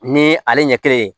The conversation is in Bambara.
Ni ale ɲɛ kelen ye